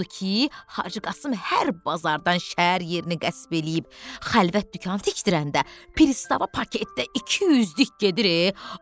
Odu ki, Hacı Qasım hər bazardan şəhər yerini qəsb eləyib, xəlvət dükan tikdirəndə, Pristava paketdə 200-lük gedir.